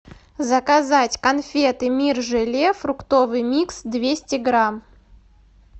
заказать конфеты мир желе фруктовый микс двести грамм